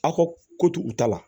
Aw ka ko to u ta la